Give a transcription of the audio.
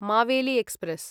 Maveli express